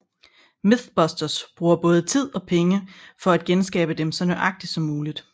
MythBusters bruger både tid og penge for at genskabe dem så nøjagtigt som muligt